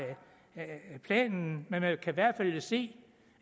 af planen men man kan i hvert fald se